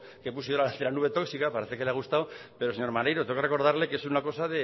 que puse de la nube tóxica parece que le ha gustado pero señor maneiro tengo que recordarle que es una cosa